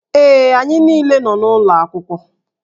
Ee, anyị niile nọ n'ụlọ akwụkwọ